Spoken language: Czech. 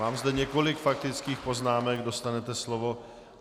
Mám zde několik faktických poznámek, dostanete slovo.